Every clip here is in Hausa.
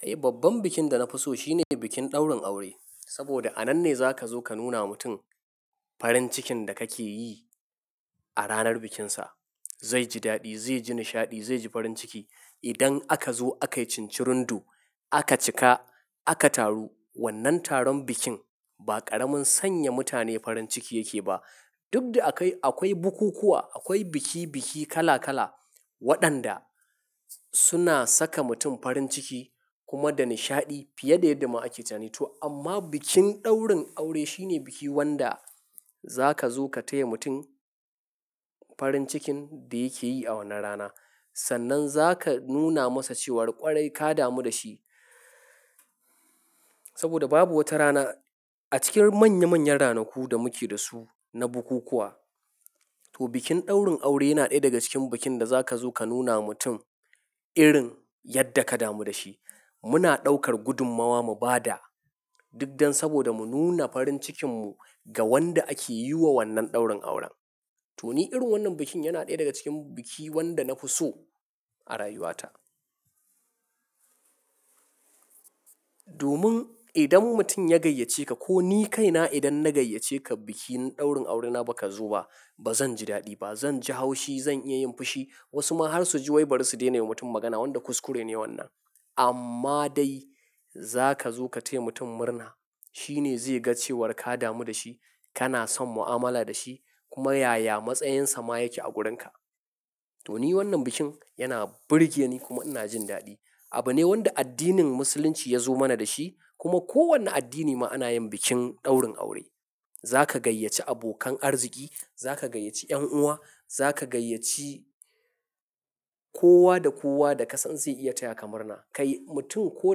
Eh, babban bikin da na fi so shine bikin ɗaurin aure. Saboda a nan ne za ka zo ka nuna wa mutum farin cikin da kake yi a ranar bikinsa. Zai ji daɗi, zai ji nishaɗi, zai ji farin ciki. Idan aka zo aka yi cincirundo aka cika, aka taru, wannan taron bikin ba ƙaramin sanya mutane farin ciki yake ba. Duk da akai akwai bukukuwa, akwai biki-biki kala-kala waɗanda suna saka mutum farin ciki kuma da nishaɗi fiye da yadda ma ake tunani. To amma bikin ɗaurin aure shine bikin wanda za ka zo ka taya mutum farin cikin da yake yi a wannan rana. Sannan za ka nuna masa cewa ƙwarai ka damu da shi. Saboda babu wata rana a cikin manya-manyan ranaku da muke da su na bukukuwa. To, bikin ɗaurin aure yana ɗaya daga cikin bikin da za ka zo ka nuna wa mutum irin yadda ka damu da shi. Muna ɗaukar gudummawa mu ba da, duk don saboda mu nuna farin cikinmu ga wanda ake yi wa wannan ɗaurin auren. To, ni irin wannan bikin yana ɗaya daga cikin bikin wanda na fi so a rayuwata. Domin idan mutum ya gayyace ka ko ni kaina idan na gayyace ka bikin ɗaurin aurena ba ka zo ba, ba zan ji daɗi ba. Zan ji haushi, zan iya yin fushi. Wasu ma har su ji wai bari su daina wa mutum magana, wanda kuskure ne wannan. Amma dai za ka zo ka taya mutum murna. Shi ne zai ga cewar ka damu da shi, kana son mu'amala da shi kuma yaya matsayinsa ma yake a wurinka. To, ni wannan bikin yana burge ni kuma ina jin daɗi. Abu ne wanda addinin Musulunci ya zo mana da shi kuma kowane addini ma ana yin bikin ɗaurin aure. Za ka gayyace abokan arziki, za ka gayyace 'yan uwa, za ka gayyace kowa da kowa da ka san zai iya taya kamurna. Kai mutum ko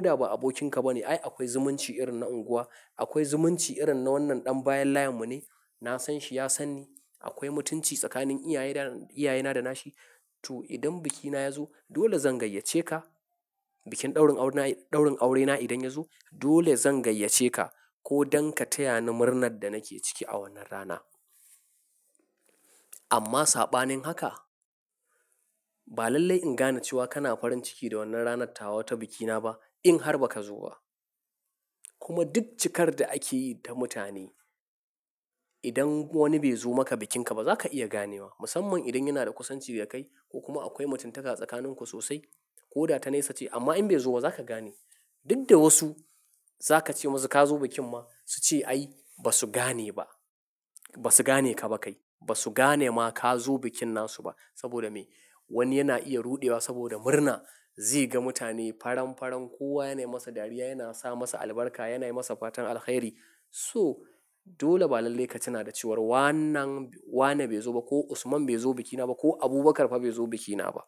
da ba abokinka ba ne, ai akwai zumunci irin na unguwa, akwai zumunci irin na wannan ɗan bayan layinmu ne. Na san shi, ya san ni. Akwai mutunci tsakanin iyaye da, iyaye na da nashi. To, idan bikina ya zo dole zan gayyace ka. Bikin ɗaurin aurena, ɗaurin aurena idan ya zo dole zan gayyace ka ko don ka taya ni murnar da nake ciki a wannan rana. Amma saɓanin haka, ba lallai in gane cewa kana farin ciki da wannan ranar tawa ta bikina ba in har ba ka zo ba. Kuma duk cikar da ake yi ta mutane, idan wani bai zo maka bikinka ba za ka iya ganewa. Musamman idan yana da kusanci da kai ko kuma akwai mutuntaka tsakaninku sosai ko da ta nesa ce. Amma in bai zo ba za ka gane. Duk da wasu za ka ce musu ka zo bikin ma su ce, "Ai ba su gane ba. Ba su gane ka ba kai. Ba su gane ma ka zo bikin nasu ba." Saboda me? Wani yana iya ruɗewa saboda murna. Zai ga mutane faran-faran, kowa yana yi masa dariya, yana sa masa albarka, yana yi masa fatan alheri. So, dole ba lallai ka tuna da cewa wannan, Wane bai zo ba ko Usman bai zo bikina ba ko Abubakar fa bai zo bikina ba.